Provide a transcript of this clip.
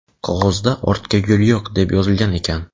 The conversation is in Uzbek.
Qog‘ozda "Ortga yo‘l yo‘q" deb yozilgan ekan.